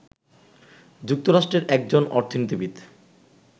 যুক্তরাষ্ট্রের একজন অর্থনীতিবিদ